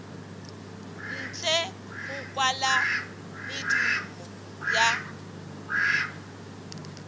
ntle go kwala medumo ya